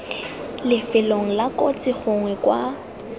lifelong la kotsi gongwe kwa